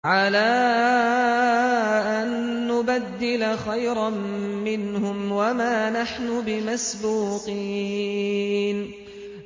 عَلَىٰ أَن نُّبَدِّلَ خَيْرًا مِّنْهُمْ وَمَا نَحْنُ بِمَسْبُوقِينَ